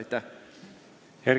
Aitäh!